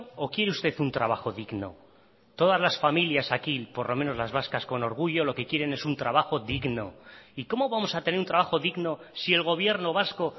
o quiere usted un trabajo digno todas las familias aquí por lo menos las vascas con orgullo lo que quieren es un trabajo digno y cómo vamos a tener un trabajo digno si el gobierno vasco